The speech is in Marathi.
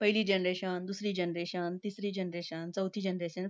पहिली generation, दुसरी generation, तिसरी generation, चौथी generation,